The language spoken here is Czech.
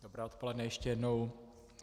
Dobré odpoledne ještě jednou.